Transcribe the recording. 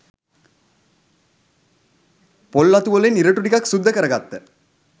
පොල් අතු වලින් ඉරටු ටිකක් සුද්ද කරගත්ත